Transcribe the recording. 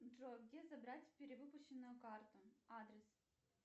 джой где забрать перевыпущенную карту адрес